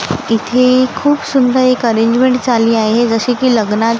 इथे खूप सुंदर एक अरेंजमेंट झाली आहे जशी की लग्नात --